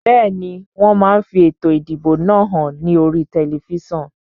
Bẹ́ẹ̀ni, wón máa fi ètò ìdìbò náà hàn ní oríi tẹlifísàn